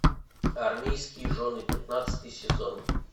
армейские жены пятнадцатый сезон